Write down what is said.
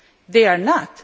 They are not.